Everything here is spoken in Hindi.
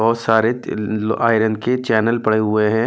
बहुत सारे ड आयरन के चैनल पड़े हुए है।